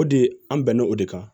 O de an bɛnna o de kan